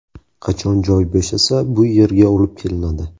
Qachon joy bo‘shasa, bu yerga olib kelinadi.